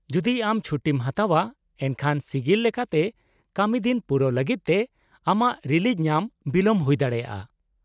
-ᱡᱚᱫᱤ ᱟᱢ ᱪᱷᱩᱴᱤᱢ ᱦᱟᱛᱟᱣᱼᱟ ᱮᱱᱠᱷᱟᱱ ᱥᱤᱜᱤᱞ ᱞᱮᱠᱟᱛᱮ ᱠᱟᱹᱢᱤᱫᱤᱱ ᱯᱩᱨᱟᱹᱣ ᱞᱟᱹᱜᱤᱫ ᱛᱮ ᱟᱢᱟᱜ ᱨᱤᱞᱤᱡᱽ ᱧᱟᱢ ᱵᱤᱞᱚᱢ ᱦᱩᱭ ᱫᱟᱲᱮᱭᱟᱜᱼᱟ ᱾